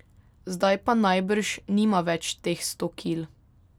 Zdaj pa najbrž nima več teh sto kil.